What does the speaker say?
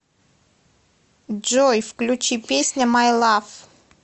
джой включи песня май лав